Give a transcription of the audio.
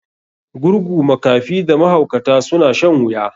Gurgu, makafi da mahaukata suna shan wuya.